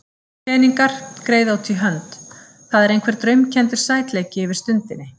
Peningar, greiða út í hönd, það er einhver draumkenndur sætleiki yfir stundinni.